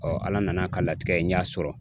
Ala nan'a ka latigɛ n y'a sɔrɔ